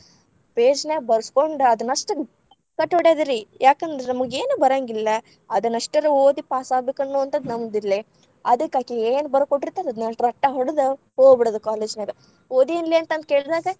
Page ‌ ನ್ಯಾಗ ಬರಸ್ಕೊಂಡ ಅದನಷ್ಟರ ಗಟ್ಟ್ ಹೊಡಿಯೋದು ರೀ. ಯಾಕಂದ್ರ ನಮಗೇನು ಬರೇಂಗಿಲ್ಲಾ. ಅದನ್ ಅಷ್ಟರ್‌ ಓದಿ ಪಾಸಾಗಬೇಕ ಅನ್ನುವಂಥದ್ದ ನಮ್ದ ಇಲ್ಲೇ. ಅದಕ ಅಕಿ ಏನ್‌ ಬರದಕೊಟ್ಟರತಾಳ ಅದನ್‌ ಅಷ್ಟರ ರಟ್ಟ ಹೊಡದ ಹೋಗಬಿಡೋದು college ‌ ನ್ಯಾಗ, ಓದಿ ಏನ್ಲೇ ಅಂತ ಕೇಳ್‌ದಾಗ.